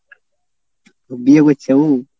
বিয়ে করছে ও?